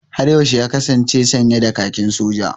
Har yaushe ya kasance sanye da kakin Soja?